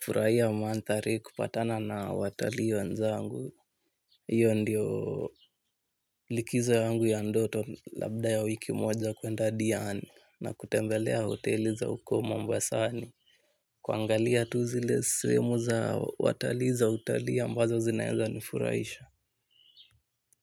Furaiya mandhari kupatana na watalii wenzangu. Iyo ndio likizo yangu ya ndoto labda ya wiki moja kuenda Diani. Na kutembelea hoteli za uko Mambasani. Kuangalia tu zile seemu za watali za utali ambazo zinaeza nifuraisha.